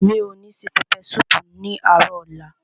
Mi ò ní se pẹpẹ súùpù ní àárò ọ̀la.